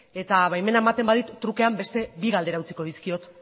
eta baimena ematen badit trukean beste bi galdera utziko dizkiot